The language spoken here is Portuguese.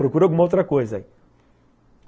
Procura alguma outra coisa aí.